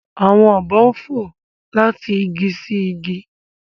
Awọn obo fo lati igi si igi.